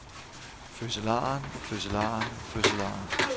fødselaren fødselaren fødselaren